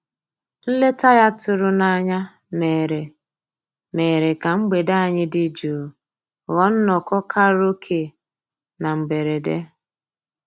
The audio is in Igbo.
Nlétà ya tụ̀rù n'ányá mèrè mèrè kà mgbede ànyị́ dị́ jụ́ụ́ ghọ́ọ́ nnọ́kọ́ kàráòké na mbèredè.